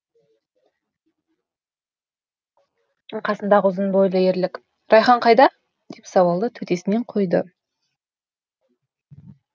қасындағы ұзын бойлы ерлік райхан қайда деп сауалды төтесінен қойды